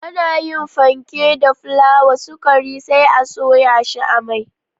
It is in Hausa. Ana yin fenke da fulawa, sukari sai a soya shi a mai